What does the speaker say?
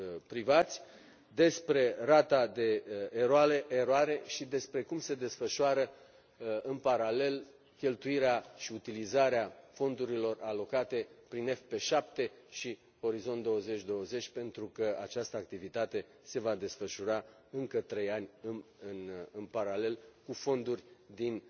privați despre rata de eroare și despre cum se desfășoară în paralel cheltuirea și utilizarea fondurilor alocate prin FP7 și Orizont2020 pentru că această activitate se va desfășura încă trei ani în paralel cu fonduri din,